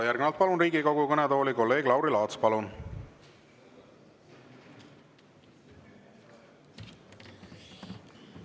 Järgnevalt palun Riigikogu kõnetooli kolleeg Lauri Laatsi, palun!